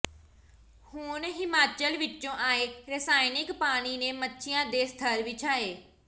ਹੁਣ ਹਿਮਾਚਲ ਵਿਚੋਂ ਆਏ ਰਸਾਇਣਿਕ ਪਾਣੀ ਨੇ ਮੱਛੀਆਂ ਦੇ ਸੱਥਰ ਵਿਛਾਏ